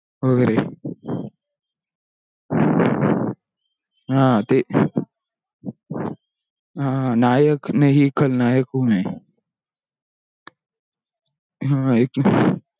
हा ते वगेर नायक नाही खलनायक हू मे ह